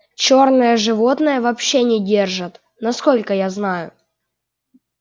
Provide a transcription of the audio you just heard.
чёрное животное вообще не держат насколько я знаю